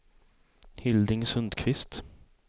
Hilding Sundqvist